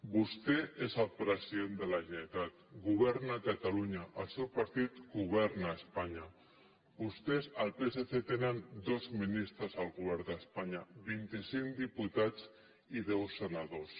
vostè és el president de la generalitat governa a catalunya el seu partit governa a espanya vostès el psc tenen dos ministres al govern d’espanya vint i cinc diputats i deu senadors